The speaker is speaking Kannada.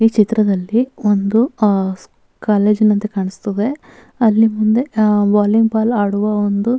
ಈ ಚಿತ್ರದಲ್ಲಿ ಒಂದು ಅಹ್‌ ಕಾಲೇಜ್ ನಂತೆ ಕಾಣಿಸ್ತದೆ ಅಲ್ಲಿ ಮುಂದೆ ವಾಲಿಬಾಲ್ ಆಡುವ ಒಂದು --